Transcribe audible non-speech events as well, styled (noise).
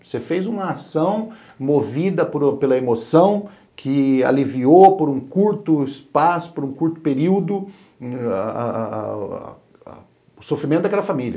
Você fez uma ação movida pela emoção, que aliviou por um curto espaço, por um curto período, (unintelligible) o sofrimento daquela família.